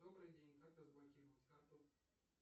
добрый день как разблокировать карту